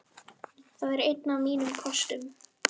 Það er einn af mínum kostum.